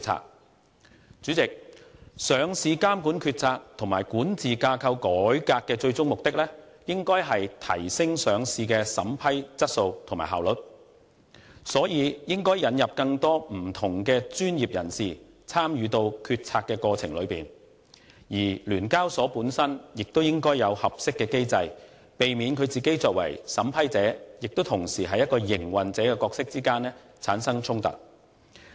代理主席，上市監管決策及管治架構改革的最終目的，應該是提升上市的審批質素和效率，所以應引入更多不同的專業人士參與決策過程，而聯交所本身亦應該有合適機制，避免聯交所作為審批者同時亦是營運者的角色之間產生衝突。